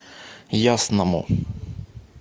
ясному